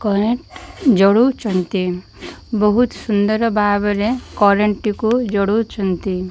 Current ଜଳଉଛନ୍ତି ବହୁତ ସୁନ୍ଦର ଭାବରେ କରେଣ୍ଟ ଟିକୁ ଜଳଉଛନ୍ତି।